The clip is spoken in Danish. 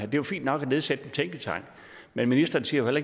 er jo fint nok at nedsætte en tænketank men ministeren siger jo